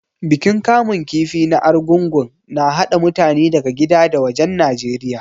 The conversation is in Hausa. Bikin kamun kifi na Arugungu na haɗa mutane daga gida da wajen Najeriya.